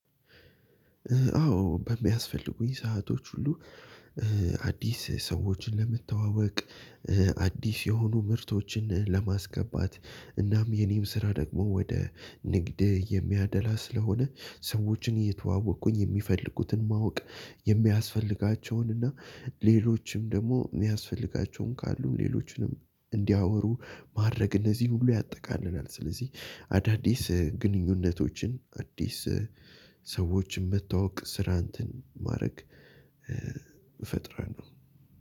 አዎ በሚያስፈልጉኝ ሰአቶች ሁሉ አዲስ ሰዎችን ለመተዋወቅ አዲስ የሆኑ ምርቶችን ለማስገባት እናም የኔም ስራ ደግሞ ወደ ንግድ የሚያደላ ስለሆነ ሰዎችን እየተዋወቅኩኝ የሚፈልጉትን ማወቅ የሚያስፈልጋቸውን እና ሌሎችም ደግሞ የሚያስፈልጋቸውን ካሉ ሌሎችንም እንዲያወሩ ማድረግ እነዚህን ሁሉ ያጠቃልላል። ስለዚህ አዳዲስ ግንኙነቶችን አዲስ ሰዎችን መተዋወቅ ስራ እንትን ማድረግ እፈጥራለሁ።